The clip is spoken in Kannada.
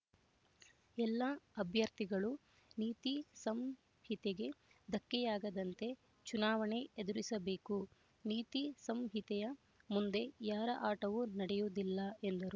ಎಲ್ಲ ಅಭ್ಯರ್ಥಿಗಳು ನೀತಿ ಸಂಹಿತೆಗೆ ಧಕ್ಕೆಯಾಗದಂತೆ ಚುನಾವಣೆ ಎದುರಿಸಬೇಕು ನೀತಿ ಸಂಹಿತೆಯ ಮುಂದೆ ಯಾರ ಆಟವೂ ನಡೆಯುವುದಿಲ್ಲ ಎಂದರು